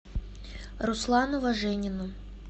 руслану важенину